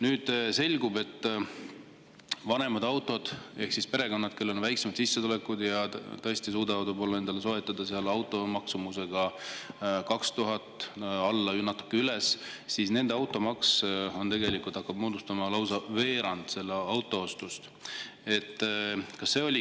Nüüd selgub, et perekondadel, kellel on väiksemad sissetulekud ja kes tõesti suudavad endale soetada auto maksumusega 2000 eurot, natuke alla, natuke üles, hakkab automaks moodustama lausa veerandi selle auto ostu.